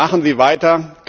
Machen Sie weiter!